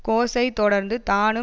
கோஸை தொடர்ந்து தானும்